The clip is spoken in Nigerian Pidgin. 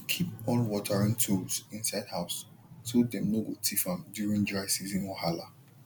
keep all watering tools inside house so dem no go thief am during dry season wahala